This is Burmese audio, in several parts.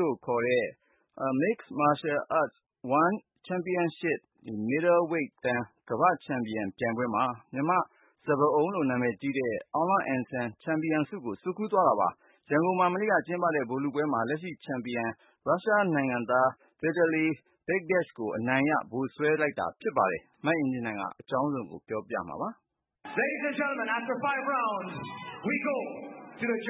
လို့ခေါ်တဲ့ One Championship ပြိုင်ပွဲမှာ မြန်မာ့စပါးအုံးလို့နာမည်ကြီးတဲ့ အောင်လအန်ဆန် ချန်ပီယံဆုကို ဆွတ်ခူးခဲ့ပါတယ်။ ရန်ကုန်မှာ မနေ့က ကျင်းပတဲ့ ဗိုလ်လုပွဲမှာ လက်ရှိချန်ပီယံ ရုရှနိုင်ငံသား Vitaly Bigdash ကို အနိုင်ရ ဗိုလ်စွဲခဲ့တာဖြစ်ပါတယ်။ မအင်ကြင်းနိုင်က အပြည့်အစုံကို တင်ပြမှာပါ။ အခုကြားခဲ့ရတဲ့ အသံကတော့ သောကြ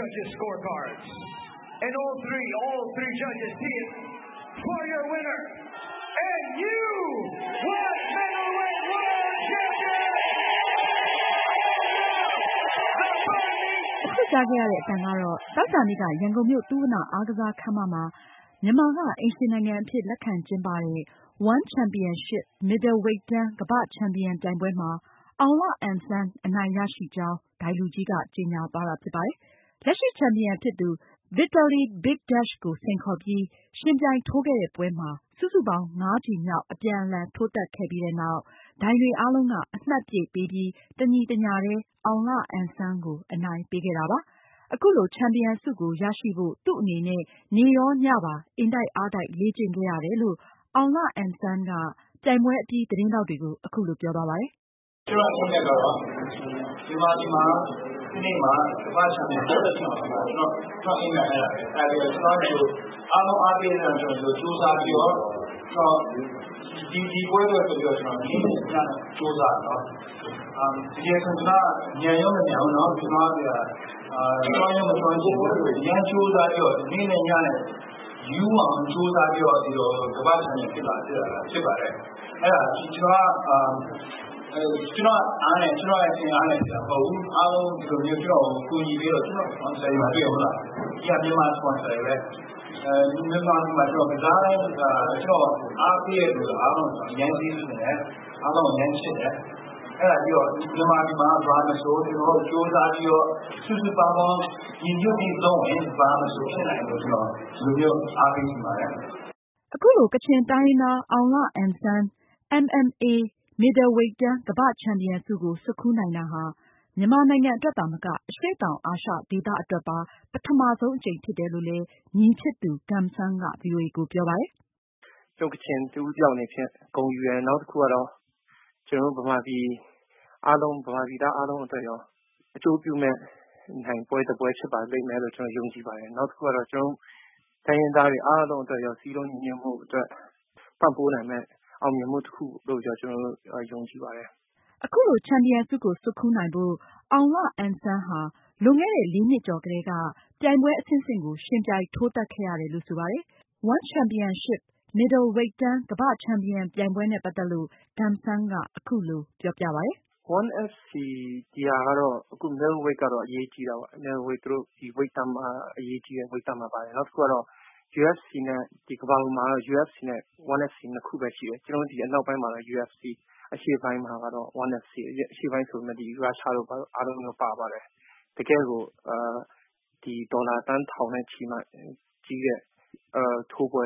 ာနေ့က ရန်ကုန်မြို့ သုဝဏ္ဏအားကစား ခန်းမမှာ မြန်မာက အိမ်ရှင်နိုင်ငံအဖြစ်လက်ခံကျင်းပတဲ့ One Championship မစ်ဒယ်ဝိတ်တန်း ကမ္ဘာ့ချန်ပီယံ ပြိုင်ပွဲမှာအောင်လအန်ဆန် အနိုင်ရရှိကြောင်း ဒိုင်လူကြီးက ကြေညာသွားတာဖြစ်ပါတယ်။ လက်ရှိချန်ပီယံဖြစ်သူ Vitaly Bigdash ကိုစိန်ခေါ်ပြီး ယှဉ်ပြိုင်ထိုးခဲ့တဲ့ ပွဲမှာ စုစုပေါင်း ငါးချီ မြောက် အပြန်အလှန်ထိုးသတ်ခဲ့ပြီးနောက်မှာ ဒိုင်တွေ အားလုံး က အမှတ်ပြည့်ပေးပြီး တညီတညာထဲ အောင်လအန်ဆန် ကို အနိုင်ပေးခဲ့တာပါ။ အခုလို ချန်ပီယံဆုကို ရရှိဖို့ သူ့အနေနဲ့ နေ့ရောညမှာပါ အင်တိုက်အားတိုက် လေ့ကျင့်ခဲ့ရတယ်လို့ အောင်လအန်ဆန်က ပြိုင်ပွဲအပြီး သတင်းထောက်တွေကို အခုလိုပြောသွားပါတယ်။ "မြန်မာပြည်မှာ တနေ့မှာ ကမ္ဘာ့ချန်ပီယံဖြစ်ဖို့ဆိုတာ ကျနော့်အိမ်မက်ပါ အားလုံး အားပေးတဲ့အတွက် ကျနော် ဒီလိုကြိုးစားပြီးတော့ ကျနော် ဒီပွဲအတွက် နေ့နဲ့ညပါ ကြိုးစားပြီးတော့ ကျနော် တကယ်ဆို ညာလည်းမညာဘူး ကျွမ်းလည်းမကျွမ်းကျင်ဘူး တကယ်ဆိုရင်တော့ နေ့နဲ့ညနဲ့ ရူးအောင်ကြိုးစားပြီးတော့ ကမ္ဘာ့ချန်ပီယံဖြစ် လာခဲ့တာဖြစ်ပါတယ်။ ကျနော်က ကျနော့်အားနဲ့ ကျနော့်အင်အားနဲ့ဖြစ်လာခဲ့တာမဟုတ်ဘူး အားလုံးက ကျနော့်ကို ကူညီပြီးတော့ ကျနော့်ကို စပွန်ဆာတွေ မြန်မာစပွန်ဆာတွေပဲ မြန်မာပြည်မှာ ကျနော် ကစားတိုင်း ကျနော့်ကို အားပေးတဲ့သူတွေ အားလုံးကို ကျနော် ကျေးဇူးတင်တယ်။ အားလုံးကို အရမ်းချစ်တယ် အဲ့တာပြီးတော့ မြန်မာပြည်မှာ ကြိုးစားပြီးတော့ စုပေါင်းညီညွတ်ပြီး လုပ်ရင် ဘာမဆိုဖြစ်နိုင်တယ်လို့ ကျနော် အားပေးချင်ပါတယ်။" အခုလို ကချင်တိုင်းရင်းသား အောင်လအန်ဆန် MMA မစ်ဒယ်ဝိတ်တန်း ကမ္ဘာ့ချန်ပီယံဆု ကို ဆွတ်ခူးနိုင်တာဟာ မြန်မာနိုင်ငံအတွက်သာမက အရှေ့တောင် အာရှဒေသအတွက်ပါ ပထမဆုံးအကြိမ်ဖြစ်တယ်လို့ ညီဖြစ်သူ Gum Sang က ဗွီအိုအေကို ပြောပါတယ်။ " တို့ကချင်တဦးတယောက်အနေဖြင့် ဂုဏ်ယူတယ် နောက်တခုကတော့ ကျနော်တို့ မြန်မာပြည်သားအားလုံးအတွက် အကျိုးပြုမယ့် နိုင်ပွဲတပွဲဖြစ်ပါလိမ့်မယ်လို့ ယုံကြည်ပါတယ် နောက်တခုကတော့ တိုင်းရင်းသားတွေအားလုံးအတွက် စည်းလုံးညီညွတ်မှုအတွက် ပံ့ပိုးနိုင်မယ့် ယုံကြည်မှုတခုလို့ ယုံကြည်ပါတယ်။" အခုလို ချန်ပီယံဆုကို ဆွတ်ခူးနိုင်ဖို့ အောင်လအန်ဆန်ဟာ လွန်ခဲ့တဲ့ လေးနှစ်ကျော်ကတည်းက ပြိုင်ပွဲအဆင့်ဆင့်ကို ယှဉ်ပြိုင် ထိုးသတ်ခဲ့ရတယ်လို့လည်း ဆိုပါတယ်။ One Championship မစ်ဒယ်ဝိတ်တန်းကမ္ဘာ့ချန်ပီယံပြိုင်ပွဲနဲ့ပတ်သက်လို့ Gum Sang ကအခုလို ပြောပါတယ်။ "One Championship-Middle Weight World Championship ကတော့ အရေးကြီးတာပေါ့။ အရေးကြီးတဲ့ဝိတ်တန်းမှာပါတယ် နောက်တခုကတော့ ကမ္ဘာပေါ်မှာတော့ UFC နဲ့ One FC နှစ်ခုပဲရှိတယ် ကျနော်တို့ အနောက်ပိုင်းမှာတော့ UFC အရှေ့ပိုင်းမှာတော့ One FC အရှေ့ပိုင်းမှာတော့ ရုရှားတို့ဘာတို့ အားလုံးပါပါတယ်။ တကယ့်ကို ဒေါ်လာသန်းထောင်ချီပြီးမှ ထိုးပွဲ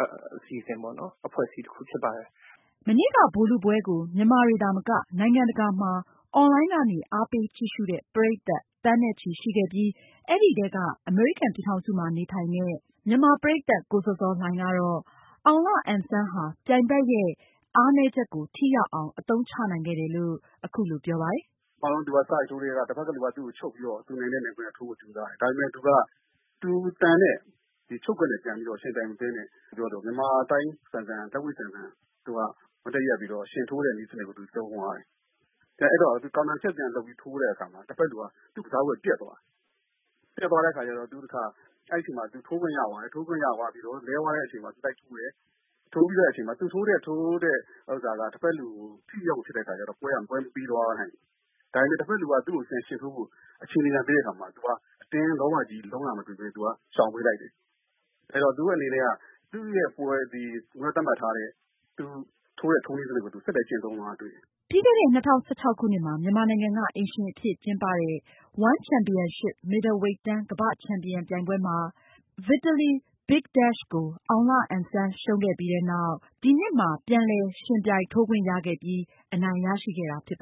အစီအစဉ်ပေါ့ အဖွဲ့အစည်းတခုဖြစ်ပါတယ်။" မနေ့က ဗိုလ်လုပွဲကို မြန်မာတွေသာမက နိုင်ငံတကာမှာ အွန်လိုင်းကနေ အားပေးကြည့်ရှုတဲ့ ပရိသတ်သန်းနဲ့ချီရှိခဲ့ပြီး အဲဒီထဲက အမေရိကန်ပြည်ထောင်စု မှာနေထိုင်တဲ့ မြန်မာပရိသတ် ကိုဇော်ဇော်လှိုင်ကတော့ အောင်လအန်ဆန်ဟာ ပြိုင်ဘက်ရဲ့ အားနည်းချက်ကို ထိရောက်အောင် အသုံးချနိုင်ခဲ့တယ်လို့သူရဲ့သုံးသပ်ချက်ကို အခုလိုပြောပါတယ်။ " သူက စထိုးကတည်းက တဖက်ကသူက သူ့ကိုချုပ်ပြီးထိုးဖို့ကြိုးစားတယ်။ ဒါပေမဲ့သူက သူသန်တဲ့ချုပ်ကွက်နဲ့ ယှဉ်ပြိုင်တာမဟုတ်ပဲ မြန်မာသိုင်းဆန်ဆန် လက်ဝှေ့ ဆန်ဆန် မတ်တပ်ရပ်ပြီးတော့ ယှဉ်ထိုးတဲ့နည်းစနစ်ကို သုံးသွားတယ်။ အဲ့တော့ သူပြန်ထိုးတဲ့အခါမှာ တဖက်လူက သူ့ကစားကွက်ပျက်သွားတယ် ပျက်သွားတဲ့အချိန်မှာ သူထိုးခွင့်ရသွားတယ် ထိုးခွင့်ရသွားချိန်မှာ လဲသွားတဲ့အချိန်မှာ သူလိုက်ထိုးတယ်။ သူထိုးတဲ့အချိန်မှာ တဖက်လူကို ထိရောက်အောင် မထိုးခဲ့နိုင်တော့ ပွဲက မပြီးသွားနိုင်ဘူး။ ဒါပေမဲ့ တဖက်လူက သူ့ကိုပြန်ယှဉ်ထိုးဖို့ အခြေအနေပြန်ပေးတဲ့အချိန်မှာ သူက အတင်းလောဘကြီးပြီး လုံးတာမလုပ်ပဲ ရှောင်ပေးလိုက်တယ် သူ့ထိုးတဲ့ထိုးနည်းနဲ့ပဲ ဆက်လက်ကျင့်သုံးသွားတာတွေ့တယ်။" ပြီးခဲ့တဲ့ ၂၀၁၆ ခုနှစ်မှာ ကျင်းပတဲ့ One Championship မစ်ဒယ်ဝိတ်တန်း ကမ္ဘာ့ချန်ပီယံ ပြိုင်ပွဲမှာ Vitaly Bigdash ကို အောင်လအန်ဆန် ရှုံးခဲ့ပြီးနောက့် ဒီနှစ်မှာ ပြန်လည် ယှဉ်ပြိုင်ထိုးခွင့်ရခဲ့ပြီး အနိုင်ရခဲ့တာဖြစ်ပါ